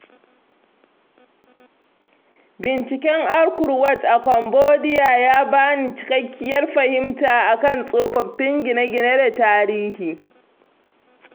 Binciken Angkor Wat a Cambodia ya ba ni cikakkiyar fahimta a kan tsofaffin gine-gine da tarihi.